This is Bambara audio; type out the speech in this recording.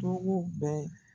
Togoo bɛɛ